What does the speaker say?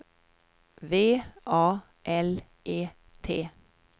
V A L E T